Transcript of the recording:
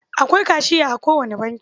Akwai kashiya a kowane banki.